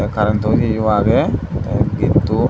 current o iye age the gatto.